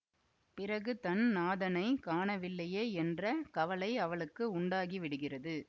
பிறகு தன் நாதனைக் காணவில்லையே என்ற கவலை அவளுக்கு உண்டாகிவிடுகிறது